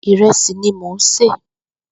Ìrẹsi ni mó n sé